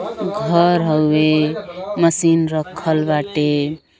घर हवे मशीन राखल बाटे ।